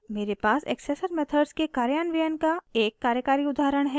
मेरे पास accessor methods के कार्यान्वयन का एक कार्यकारी उदाहरण है